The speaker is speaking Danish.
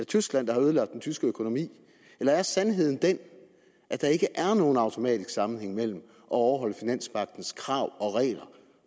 tyskland der har ødelagt den tyske økonomi eller er sandheden den at der ikke er nogen automatisk sammenhæng mellem at overholde finanspagtens krav og regler